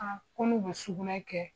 Aa ko n'u be sugunɛ kɛ